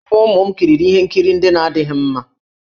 Ụmụ ụmụ m kiriri ihe nkiri ndị na-adịghị mma.